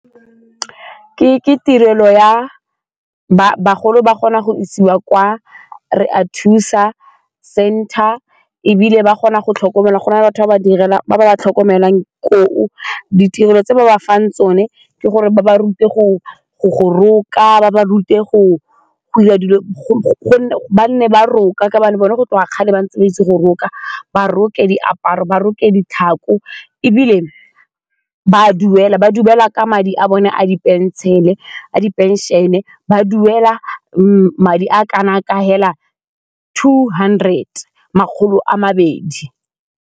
Ke tirelo ya bagolo ba kgona go isiwa kwa Re a thusa center ebile ba kgona go tlhokomelwa go na le batho ba ba ba tlhokomelang koo, ditirelo tse ba ba fang tsone ke gore ba ba rute go roka ba ba rute go 'ira dilo go gonne ba ne ba roka ka botlhe go tloga kgale ba ntse ba itse go roka, ba roka diaparo, ba roke ditlhako ebile ba duela madi a bone a di-pension-e ba duela madi a kana ka fela two hundred, makgolo a mabedi.